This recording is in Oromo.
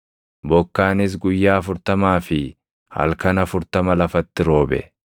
Bokkaanis guyyaa afurtamaa fi halkan afurtama lafatti roobe.